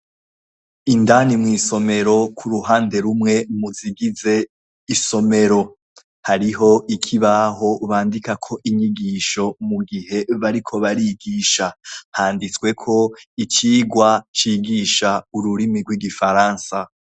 Indani mw'isomero kuruhande rumwe muzigize isomero, hariho ikibaho bandikako inyigisho mu gihe bariko barigisha, handitsweko icigwa cigisha ururimi rw'igifaransa.